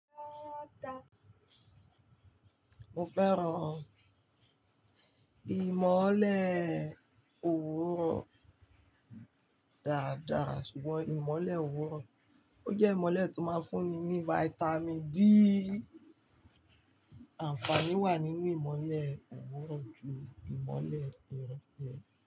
Mo fẹ́ràn ìmọ́lẹ̀ òwúrọ̀ dáadáa, ṣùgbọ́n ìmọ́lẹ̀ òwúrọ̀ ó jẹ́ ìmọ́lẹ̀ tó máa ń fún mi ní Vitamin D. Àǹfààní wà nínú ìmọ́lẹ̀ òwúrọ̀ ju ìmọ́lẹ̀ ìrole.